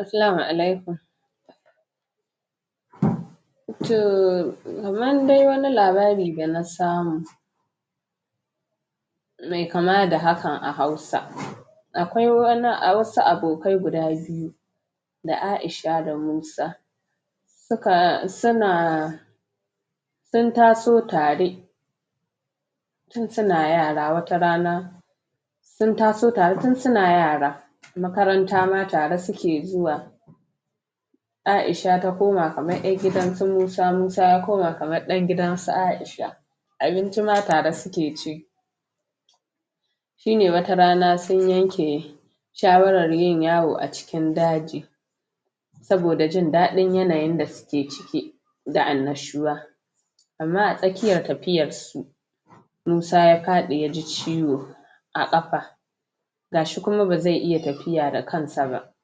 Assalamu alaikum Too Kamar dai wani labari da na samu Me kama da haan a hausa Akwai wasu abokai guda biyu da Aisha da Musa Suna sun taso tare tn suna yara wata rana sn taso tare tn suna yara makaranta ma atare suke zuwa Aisha ta koma kamar yar gidansu musa, Musa ya koma kamar dan gidansu Aisha abinci ma tare suke ci shine wata rana sn yanke shawarar yin yawo acikin daji saboda jin dadin yanayin d suke ciki da annashuwa amma a tsakiya tafiyarsu Musa ya fadi ya ji ciwo a kafa gashi kuma bazai iya tafiya da kansa ba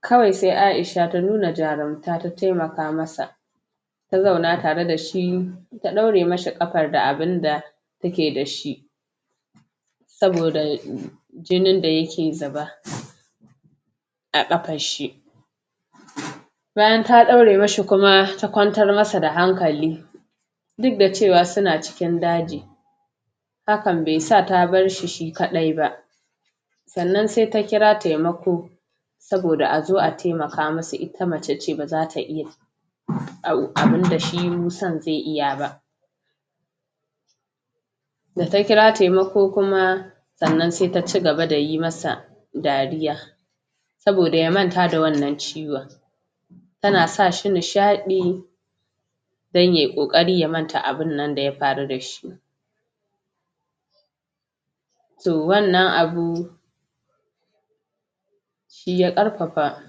kawai sai Aisha ta nuna jarumta ta taimaka masa ta zauna tare dashi ta daure mishi kafar da abinda take da shi saboda jinin da yake zuba a kafarshi Bayan ta daure mishi kuma ta kwantar masa da hankali dk da cewa suna cikin daji hakan bai sa ta barshi shi kadai ba sannan sai ta kira taimako Saboda azo a taimaka musu ita mace ce bazata iya abnda shi Musan zai iya ba da ta kira taimako kuma sannan ta cigaba da yi masa dariya saboda ya manta da wannan ciwon tana sashi nishadi dan yay kokari ya manta abnnan da ya faru dashi to wannan abu shi ya qarfafa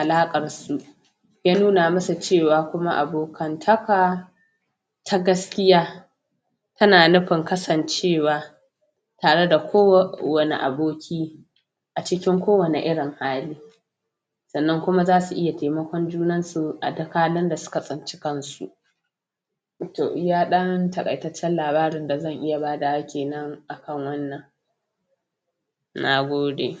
alaqarsu ya nuna musu cewa kuma abokantaka ta gaskiya tana nufin kasancewa tare da kowane aboki acikin kowane irin hali sannan kuma zasu iya taimakon junansu a dk halin da suka tsinci kansu to iya dan takaitaccen labarin da zan iya badawa kenan akan wannan Nagode.